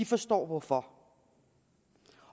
forstår hvorfor